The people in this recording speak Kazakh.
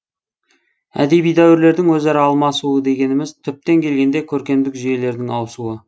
әдеби дәуірлердің өзара алмасуы дегеніміз түптеп келгенде көркемдік жүйелердің ауысуы